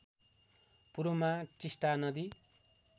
पूर्वमा टिष्टा नदी